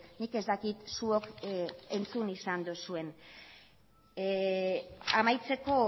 nik ez dakit zuok entzun izan duzuen amaitzeko